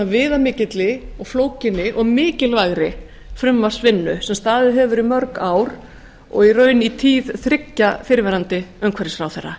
svona viðamikil og flókinni og mikilvægri frumvarpsvinnu sem staðið hefur í mörg ár og í raun í tíð þriggja fyrrverandi umhverfisráðherra